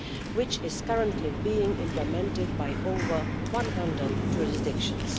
which is currently being implemented by over 100 jurisdictions.